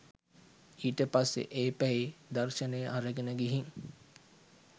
ඊට පස්සෙ ඒ පැයේ දර්ශනය අරගෙන ගිහින්